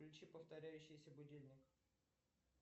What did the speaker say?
включи повторяющийся будильник